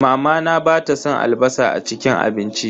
Mamana bata san albasa a cikin abinci.